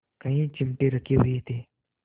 कई चिमटे रखे हुए थे